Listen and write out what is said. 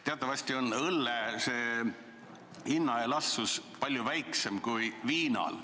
Teatavasti on õlle hinna elastsus palju väiksem kui viinal.